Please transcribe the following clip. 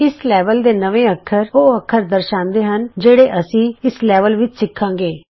ਇਸ ਲੈਵਲ ਦੇ ਨਵੇਂ ਅੱਖਰ ਉਹ ਅੱਖਰ ਦਰਸਾਂਦੇ ਹਨ ਜਿਹੜੇ ਅਸੀਂ ਇਸ ਲੈਵਲ ਵਿੱਚ ਸਿਖਾਂਗੇ